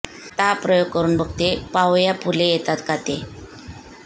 आता हा प्रयोग करुन बघते पाहुया फुले येतात का ते